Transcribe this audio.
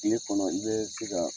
Tile kɔnɔ i bɛ se ka.